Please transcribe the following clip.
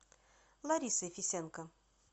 ларисой фисенко